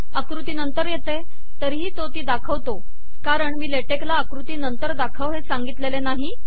आकृती नंतर येते तरीही तो ती दाखवतो कारण मी ले टेक ला आकृती नंतर दाखव हे सांगितलेले नाही